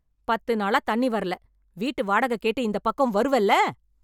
பத்து நாளா தண்ணி வரல, வீட்டு வாடகை கேட்டு இந்த பக்கம் வருவல?